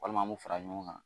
Walima an b'u fara ɲɔgɔn kan